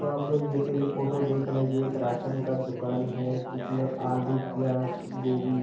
तो आप लोग जैसे ये फोटो देख रहे हैं। ये एक राशन का दुकान है। जिसमे आलू प्याज गोभी --